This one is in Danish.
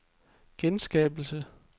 genskabelse